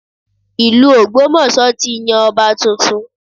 Ìlú Ogbomoso ti yan ọba tuntun